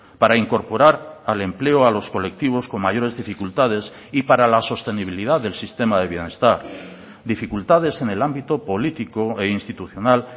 para incorporar al empleo a los colectivos con mayores dificultades y para la sostenibilidad del sistema de bienestar dificultades en el ámbito político e institucional